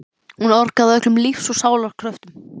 Hún orgaði af öllum lífs og sálar kröftum.